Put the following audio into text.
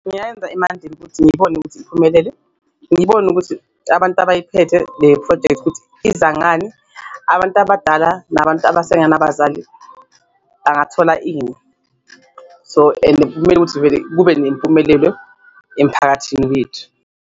Emanzini ukuthi ngibone ukuthi iphumelele, ngibone ukuthi abantu abayiphethe le phrojekthi ukuthi izangani, abantu abadala nabantu abasengenabazali bangathola ini so, and kumele ukuthi vele kube nempumelelo emphakathini wethu.